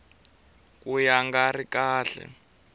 ka ya nga ri kahle